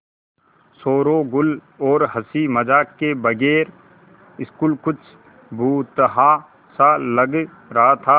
शोरोगुल और हँसी मज़ाक के बगैर स्कूल कुछ भुतहा सा लग रहा था